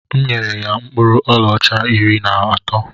M nyere ya mkpụrụ ọlaọcha iri na atọ